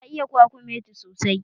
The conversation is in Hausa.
Ta iya kwakumeti sosai